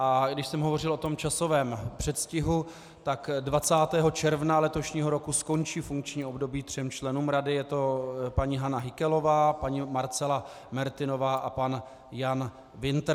A když jsem hovořil o tom časovém předstihu, tak 20. června letošního roku skončí funkční období třem členům Rady, je to paní Hana Hikelová, paní Marcela Mertinová a pan Jan Wintr.